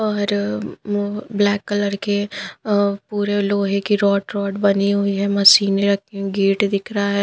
और म उ ब्लैक कलर के अ पूरे लोहे की रोड रॉड बनी हुई है मशीने रखी गेट दिख रहा है।